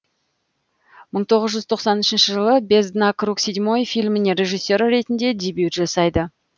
мың тоғыз жүз тоқсан үшінші жылы бездна круг седьмой фильміне режиссер ретінде дебют жасайды